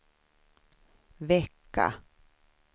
vecka